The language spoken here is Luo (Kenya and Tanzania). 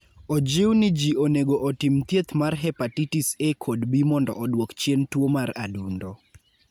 Ojiw ni ji onego otim thieth mar hepatitis A kod B mondo odwok chien tuo mar adundo.